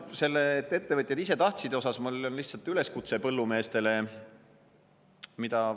Selle kohta, et ettevõtjad ise tahtsid, on mul lihtsalt üleskutse põllumeestele.